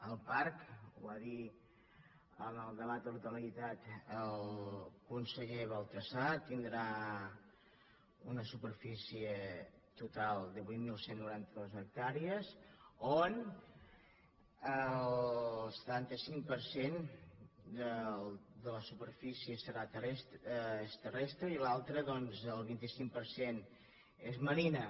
el parc ho va dir en el debat de totalitat el conseller baltasar tindrà una superfície total de vuit mil cent i noranta dos hectàrees on el setanta cinc per cent de la superfície és terrestre i l’altra doncs el vint cinc per cent és marina